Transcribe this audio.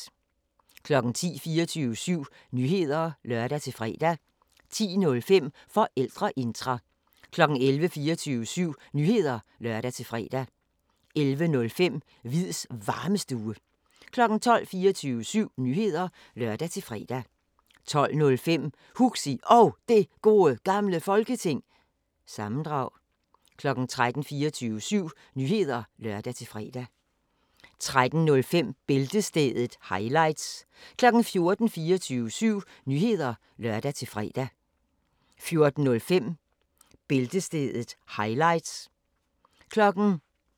10:00: 24syv Nyheder (lør-fre) 10:05: Forældreintra 11:00: 24syv Nyheder (lør-fre) 11:05: Hviids Varmestue 12:00: 24syv Nyheder (lør-fre) 12:05: Huxi Og Det Gode Gamle Folketing- sammendrag 13:00: 24syv Nyheder (lør-fre) 13:05: Bæltestedet – highlights 14:00: 24syv Nyheder (lør-fre) 14:05: Bæltestedet – highlights